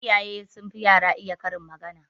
Iyaye sun fi yara iya karin magana